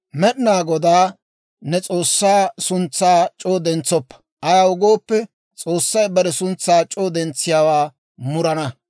«Med'inaa Godaa ne S'oossaa suntsaa c'oo dentsoppa; ayaw gooppe, S'oossay bare suntsaa c'oo dentsiyaawaa murana.